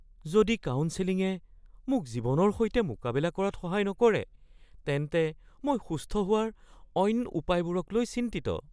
যদি কাউন্সেলিঙে মোক জীৱনৰ সৈতে মোকাবিলা কৰাত সহায় নকৰে তেন্তে মই সুস্থ হোৱাৰ অইন উপায়বোৰকলৈ চিন্তিত।